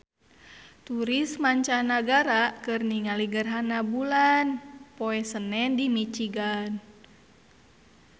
Turis mancanagara keur ningali gerhana bulan poe Senen di Michigan